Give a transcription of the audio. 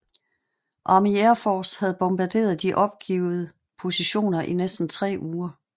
Army Air Force havde bombarderet de opgivede positioner i næsten tre uger